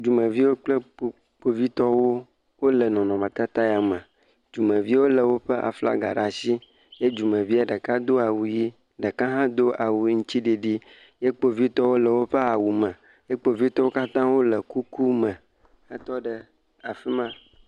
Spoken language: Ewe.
Dumeviwo kple kpovitɔwo wole nɔnɔmetatata ya me, dumeviwo lé woƒe aflaga ɖe asi ye dumevie ɖeka do awu ʋe, ɖeka hã do awu aŋutiɖiɖi, ye kpovitɔwo le woƒe awu me, ye kpovitɔwo katã wole kuku me hetɔ ɖe afi ma.